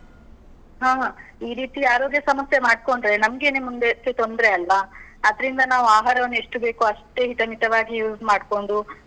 ಹಾ ಹಾ, ಈ ರೀತಿ ಆರೋಗ್ಯ ಸಮಸ್ಯೆ ಮಾಡ್ಕೊಂಡ್ರೆ, ನಮ್ಗೇನೆ ಮುಂದೆ ಹೆಚ್ಚು ತೊಂದ್ರೆ ಅಲ್ವಾ? ಆದ್ರಿಂದ ನಾವು ಆಹಾರವನ್ನು ಎಷ್ಟು ಬೇಕೋ ಅಷ್ಟೇ ಹಿತಮಿತವಾಗಿ use ಮಾಡ್ಕೊಂಡು,.